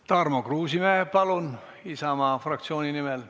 Tarmo Kruusimäe Isamaa fraktsiooni nimel.